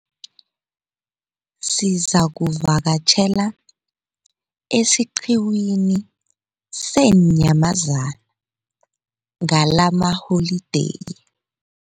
Sizakuvakatjhela esiqhiwini seenyamazana ngalamaholideyi.